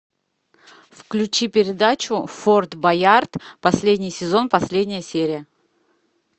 включи передачу форт боярд последний сезон последняя серия